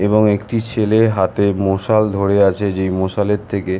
এবং একটি ছেলে হাতে মশাল ধরে আছে যে মশালের থেকে--